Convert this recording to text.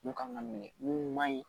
Mun kan ka minɛ mun man ɲi